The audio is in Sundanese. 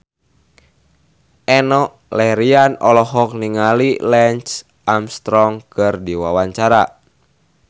Enno Lerian olohok ningali Lance Armstrong keur diwawancara